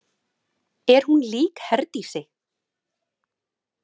Er hún lík Herdísi?